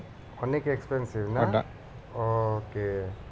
অনেক expensive না? Okay